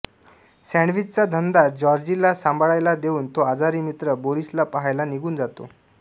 सॅंडविचचा धंदा जॉर्जीला सांभाळायला देऊन तो आजारी मित्र बोरीसला पाहायला निघून जातो